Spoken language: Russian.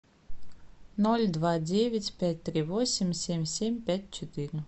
ноль два девять пять три восемь семь семь пять четыре